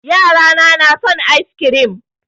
Yara na na son ice kirim